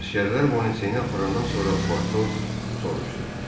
Əsgərlər Boneceyi aparandan sonra Potos soruşdu.